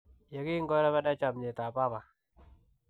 ye kingorebena chamnyetab baba.